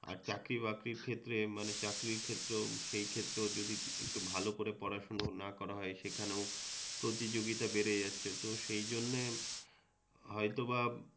আর চাকরিবাকরির ক্ষেত্রে মানে চাকরির ক্ষেত্রেও সেই ক্ষেত্রেও যদি একটু ভালো করে পড়াশুনোও না করা হয় সেখানেও প্রতিযোগিতা বেড়ে যাচ্ছে তো সেইজন্যে হয়তোবা